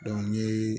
n ye